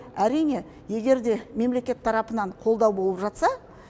әрине егер де мемлекет тарапынан қолдау болып жатса